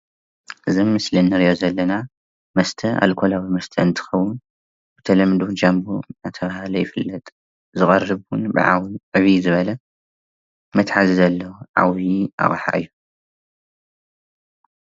እዚ አብ ምስሊ ንሪኦ ዘለና መስተ አልኮላዊ መስተ እንትከውን ብተለምዶ ጃንቦ እናተባህለ ይፍለጥ ዝቀርብ ብዕብይ ዝበለ መትሐዚ ዘለዎ ዓብይ አቅሓ እዩ፡፡